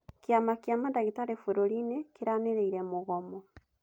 Kĩama kĩa mandagĩtarĩ bũrũri-inĩ kĩranĩire mũgomo.